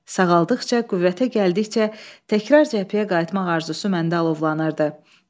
Sağaldıqca, qüvvətə gəldikcə, təkrar cəbhəyə qayıtmaq arzusu məndə alovlanırdı.